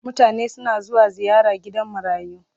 Mutane suna zuwa ziyara gidan marayu.